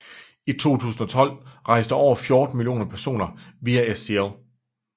I 2012 rejste over 14 millioner personer via SCL